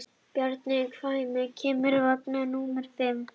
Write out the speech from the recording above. Bjarma, hvenær kemur vagn númer fimm?